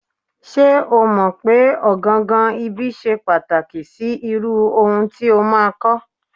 Ṣé́ o mọ̀ pé ọ̀gangan ibi ṣe pàtàkì sí irú ohun tí o máa kọ́.